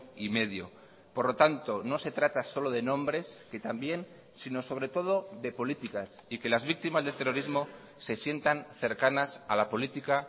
y medio por lo tanto no se trata solo de nombres que también sino sobre todo de políticas y que las víctimas del terrorismo se sientan cercanas a la política